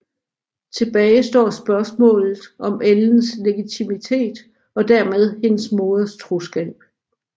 Tilbage står spørgsmålet om Ellens legitimitet og dermed hendes moders troskab